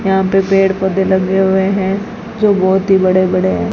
यहां पर पेड़ पौधे लगे हुए हैं जो बहोत ही बड़े बड़े हैं।